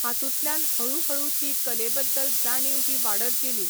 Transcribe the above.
हातूंतल्यान हऴू हळू ती कले बद्दल जाणीव ही वाडत गेली.